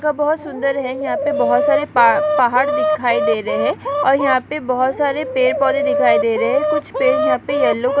का बोहोत सुन्दर है यहाँ पे बोहोत सारे पा-पहाड़ दिखाई दे रहे हैं और यहाँ पे बोहोत सारे पेड़ पौधे दिखाई दे रहे हैं कुछ पेड़ यहाँ पे येलो क --